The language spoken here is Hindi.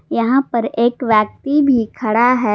यहां पर एक व्यक्ति भी खड़ा है।